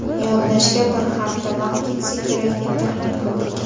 Yodlashga bir hafta vaqt ketsa kerak, deb taxmin qildik.